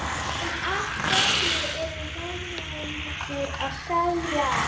En af hverju eru Norðmennirnir að selja?